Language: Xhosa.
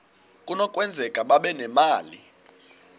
kunokwenzeka babe nemali